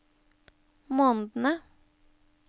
månedene